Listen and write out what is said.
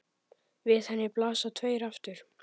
Við henni blasa tveir aftur